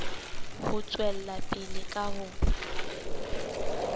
ho tswela pele ka ho